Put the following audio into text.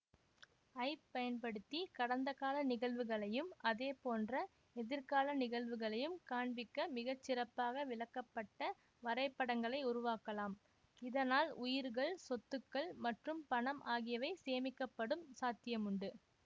ஐப் பயன்படுத்தி கடந்தகால நிகழ்வுகளையும் அதேபோன்ற எதிர்கால நிகழ்வுகளையும் காண்பிக்க மிகச்சிறப்பாக விளக்கப்பட்ட வரைபடங்களை உருவாக்கலாம் இதனால் உயிர்கள் சொத்துக்கள் மற்றும் பணம் ஆகியவை சேமிக்கப்படும் சாத்தியமுண்டு